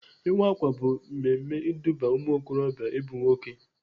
Ịwa ákwà bụ mmemme iduba ụmụokorobịa ịbụ nwoke.